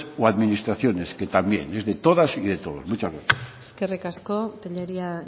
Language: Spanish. o administraciones que también es de todas y de todos muchas gracias eskerrik asko tellería